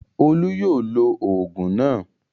Olú yóò lo òògùn náà.